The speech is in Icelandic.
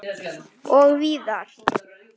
Og víðar.